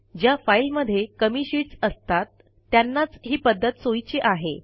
ज्या फाईलमध्ये कमी शीटस् असतात त्यांनाच ही पध्दत सोयीची आहे